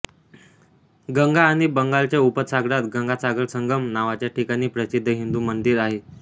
गंगा आणि बंगालच्या उपसागरात गंगासागरसंगम नावाच्या ठिकाणी प्रसिद्ध हिंदू मंदिर आहे